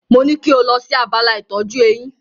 Mo ní kí o lọ sí abala ìtọ́jú eyín.